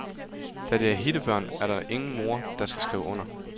Da det er hittebørn, er der ingen mor, der skal skrive under.